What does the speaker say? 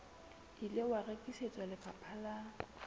ile wa rekisetswa lefapha la